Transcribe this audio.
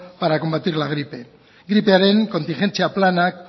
para combatir la gripe gripearen kontingentzia planak